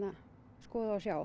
skoða og sjá